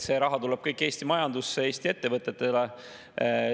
See raha tuleb kõik Eesti majandusse, Eesti ettevõtetele.